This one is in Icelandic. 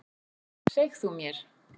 Seg þú mér.